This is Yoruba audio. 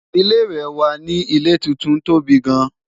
ilé ìwé wà nì ilé tuntun tóbi gaan